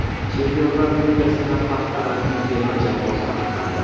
Chempionlar Ligasida hafta ramziy terma jamoasi aniqlandi.